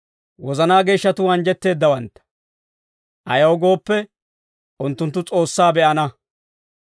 Wozanaa geeshshatuu anjjetteeddawantta; ayaw gooppe, unttunttu S'oossaa be'ana.